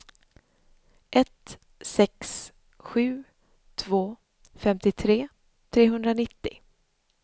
ett sex sju två femtiotre trehundranittio